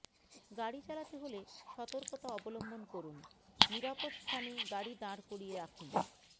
গাড়ি চালাতে হলে সতর্কতা অবলম্বন করুন নিরাপদ স্থানে গাড়ি দাঁড় করিয়ে রাখুন